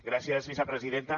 gràcies vicepresidenta